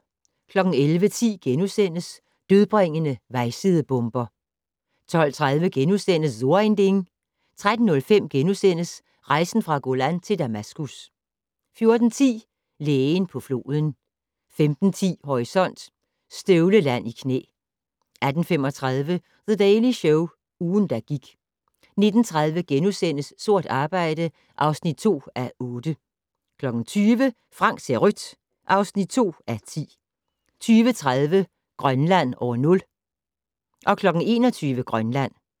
11:10: Dødbringende vejsidebomber * 12:30: So ein Ding * 13:05: Rejsen fra Golan til Damaskus * 14:10: Lægen på floden 15:10: Horisont: Støvleland i knæ 18:35: The Daily Show - ugen, der gik 19:30: Sort arbejde (2:8)* 20:00: Frank ser rødt (2:10) 20:30: Grønland år 0 21:00: Grønland